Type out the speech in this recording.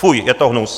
Fuj, je to hnus!